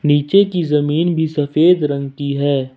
नीचे की जमीन भी सफेद रंग की है।